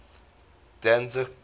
danzig gda